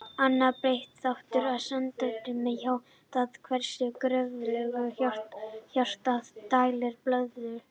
Annar breytilegur þáttur er samdráttarkraftur hjartans, það er hversu kröftuglega hjartað dælir blóðinu.